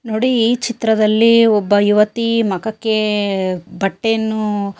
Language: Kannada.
ನೋಡಿ ಈ ಚಿತ್ರದಲ್ಲಿ ಒಬ್ಬ ಯುವತಿ ಮಖಕ್ಕೆ ಬಟ್ಟೆಯನ್ನು --